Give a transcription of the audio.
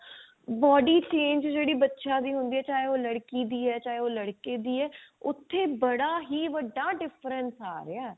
body change ਜਿਹੜੀ ਬੱਚਿਆਂ ਦੀ ਹੁੰਦੀ ਹੈ ਚਾਹੇ ਉਹ ਲੜਕੀ ਦੀ ਹੈ ਚਾਹੇ ਉਹ ਲੜਕੇ ਦੀ ਹੈ ਉਥੇ ਬੜਾ ਹੀ ਵੱਡਾ different ਆ ਰਿਹਾ